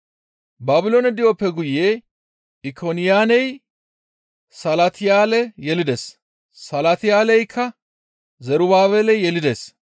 Baabiloone di7oppe guye Ikoniyaaney Salatiyaale yelides; Salatiyaaley Zerubaabele yelides;